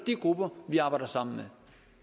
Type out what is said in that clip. grupper vi arbejder sammen